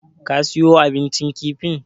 Ka siyo abincin kifin?